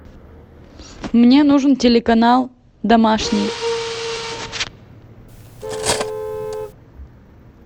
мне нужен телеканал домашний